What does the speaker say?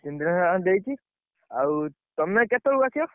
ସେଇଠି ଯାହା ଦେଇଛି, ଆଉ, ତମେ କେତବେଳକୁ ଆସିବ?